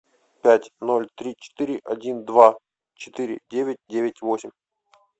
пять ноль три четыре один два четыре девять девять восемь